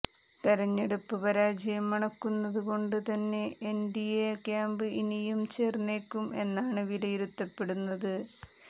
തെരഞ്ഞെടുപ്പ് പരാജയം മണക്കുന്നത് കൊണ്ട് തന്നെ എന്ഡിഎ ക്യാമ്പ് ഇനിയും ചോര്ന്നേക്കും എന്നാണ് വിലയിരുത്തപ്പെടുന്നത്